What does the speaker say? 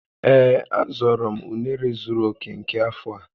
Ee, a zọrọ m unere zuru oke nke afọ a